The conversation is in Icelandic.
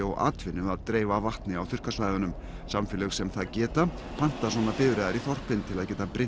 og atvinnu að dreifa vatni á þurrkasvæðunum samfélög sem það geta panta svona bifreiðar í þorpin til að geta